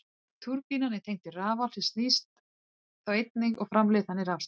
Túrbínan er tengd við rafal sem snýst þá einnig og framleiðir þannig rafstraum.